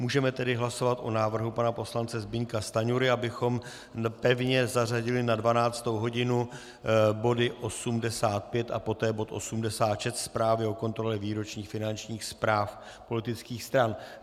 Můžeme tedy hlasovat o návrhu pana poslance Zbyňka Stanjury, abychom pevně zařadili na 12. hodinu body 85 a poté bod 86, Zprávu o kontrole výročních finančních zpráv politických stran.